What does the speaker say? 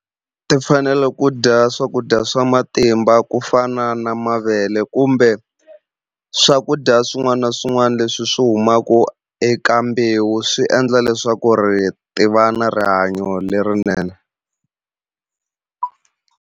Ti fanele ku dya swakudya swa matimba ku fana na mavele kumbe swakudya swin'wana na swin'wana leswi swi humaku eka mbewu swi endla leswaku ri ti va na rihanyo lerinene.